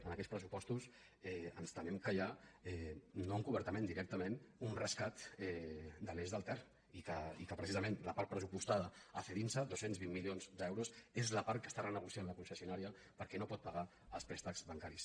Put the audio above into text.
en aquests pressupostos ens temem que hi ha no encobertament directament un rescat de l’eix del ter i que precisament la part pressupostada a cedinsa dos cents i vint milions d’euros és la part que està re·negociant la concessionària perquè no pot pagar els préstecs bancaris